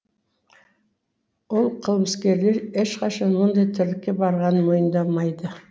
ол қылмыскерлер ешқашан мұндай тірлікке барғанын мойындамайды